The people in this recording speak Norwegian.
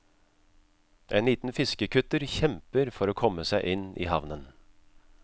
En liten fiskekutter kjemper for å komme seg inn i havnen.